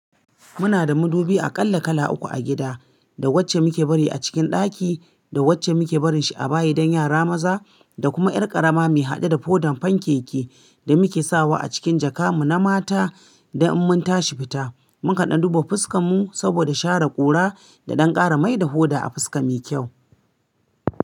Muna da madubi a kala kala uku a gida. Da wacce muke bari a cikin ɗaki, da wacce muke barin shi a bayi don yara maza, da kuma ƴar ƙarama me haɗe da fodan fanke-ke da muke sawa a cikin jaka mu na mata. Da in mun tashi fita, mun ƙada duba fuska mu saboda share ƙura da ɗan ƙara mai da hoda a fuska muyi kyau.